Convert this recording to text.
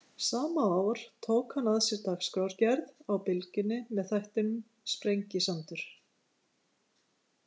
Sama ár tók hann að sér dagskrárgerð á Bylgjunni með þættinum Sprengisandur.